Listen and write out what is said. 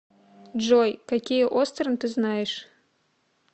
джой какие остерн ты знаешь